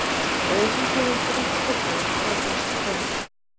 ef enginn gefur okkur rétta tilboðið hvað er þá hægt að gera?